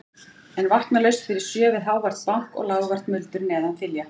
En vakna laust fyrir sjö við hávært bank og lágvært muldur neðan þilja.